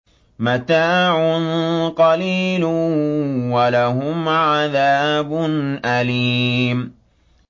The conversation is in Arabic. مَتَاعٌ قَلِيلٌ وَلَهُمْ عَذَابٌ أَلِيمٌ